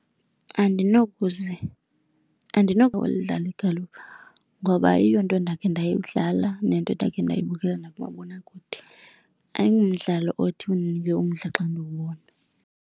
Andinokwazi udlala igalufa ngoba ayiyonto endakhe ndayidlala nento endakhe ndayibukela nakumabonakude, ayingumdlalo othi undinike umdla xa ndiwubona.